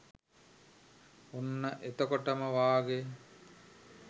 ඔන්න එතකොටම වාගේ